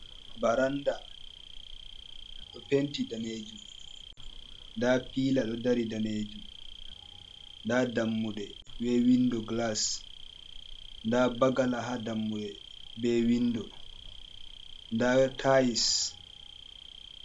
Baranɗa ɗo penti danejum. Nɗa piila ɗo ɗari danejum. Nɗa dammuɗe be winɗo gilas. Nɗa bagala ha dammuɗe be winɗo. Nɗa tails.